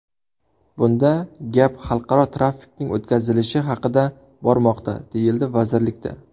Bunda gap xalqaro trafikning o‘tkazilishi haqida bormoqda”, deyishdi vazirlikda.